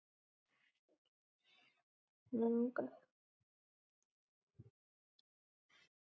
Þið segið fréttir þykir mér!